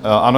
Ano.